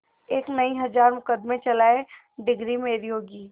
एक नहीं हजार मुकदमें चलाएं डिगरी मेरी होगी